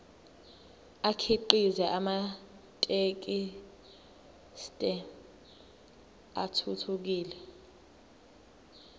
akhiqize amathekisthi athuthukile